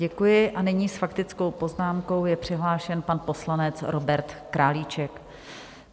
Děkuji a nyní s faktickou poznámkou je přihlášen pan poslanec Robert Králíček.